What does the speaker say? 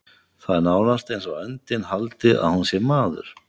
Það er nánast eins og öndin haldi að hún sé maður.